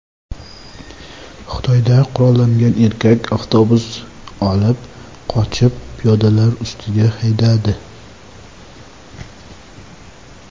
Xitoyda qurollangan erkak avtobus olib qochib, piyodalar ustiga haydadi.